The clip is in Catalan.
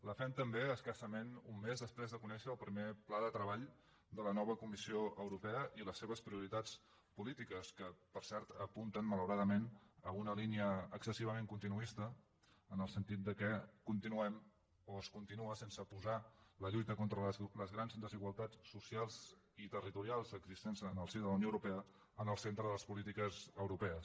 la fem també escassament un mes després de conèixer el primer pla de treball de la nova comissió europea i les seves prioritats polítiques que per cert apunten malauradament a una línia excessivament continuista en el sentit que continuem o es continua sense posar la lluita contra les grans desigualtats socials i territorials existents en el si de la unió europea en el centre de les polítiques europees